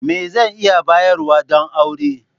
Me zan iya bayarwa don aure?